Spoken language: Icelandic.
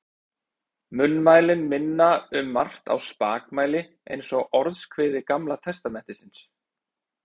Munnmælin minna um margt á spakmæli eins og Orðskviði Gamla testamentisins.